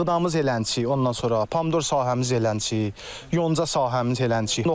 Buğdamız elənçi, ondan sonra pomidor sahəmiz elənçi, yonca sahəmiz elənçi.